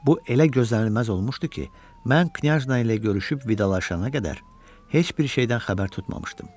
Bu elə gözlənilməz olmuşdu ki, mən knyajna ilə görüşüb vidalaşana qədər heç bir şeydən xəbər tutmamışdım.